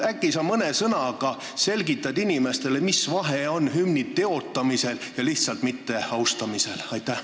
Äkki sa mõne sõnaga selgitad inimestele, mis vahe on hümni teotamisel ja mitteaustamisel?